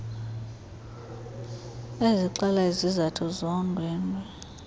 ezixela izizathu zondwendwe